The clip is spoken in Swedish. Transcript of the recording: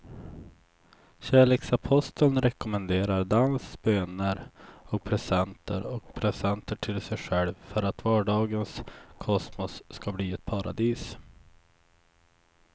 Kärleksaposteln rekommenderar dans, böner och presenter och presenter till sig själv för att vardagens kosmos ska bli ett paradis.